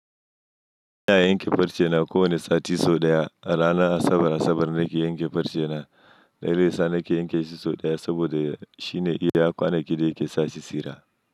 Ina yanke farce na kowane sati sau ɗaya, rana Asabar Asabar nake yanke farce na. Da yasa nake yanke shi sau ɗaya saboda shine iya kwana gida yake sashi tsira.